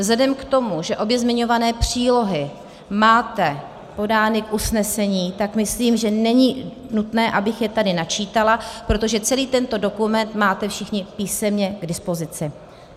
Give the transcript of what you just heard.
Vzhledem k tomu, že obě zmiňované přílohy máte podány v usnesení, tak myslím, že není nutné, abych je tady načítala, protože celý tento dokument máte všichni písemně k dispozici.